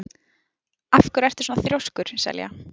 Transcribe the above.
Af hverju ertu svona þrjóskur, Selja?